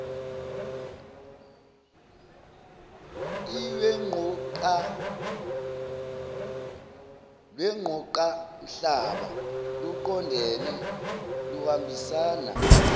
lwengqoqamhlaba luqondene luhambisana